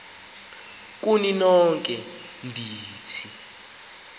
kuni nonke ndithi